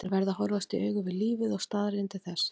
Þeir verða að horfast í augu við lífið og staðreyndir þess.